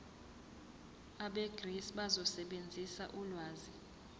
abegcis bazosebenzisa ulwazi